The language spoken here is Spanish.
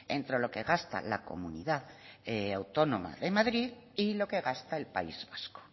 entre lo que gasta la comunidad autónoma de madrid y lo que gasta el país vasco